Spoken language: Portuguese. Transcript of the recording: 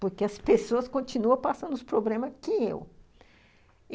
porque as pessoas continuam passando os problemas que eu.